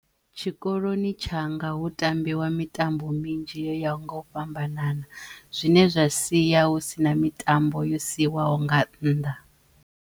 Tshikoloni tshanga hu tambiwa mitambo minzhi yo yaho nga u fhambanana zwine zwa siya hu sina mitambo yo siwaho nga nnḓa.